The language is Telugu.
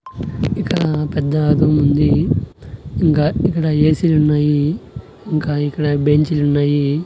ఇక్కడ పెద్ద రూముంది ఇంకా ఇక్కడ ఏ సీ లున్నాయి ఇంకా ఇక్కడ బెంచిలున్నాయి .